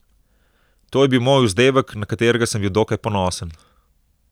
To je bil moj vzdevek, na katerega sem bil dokaj ponosen.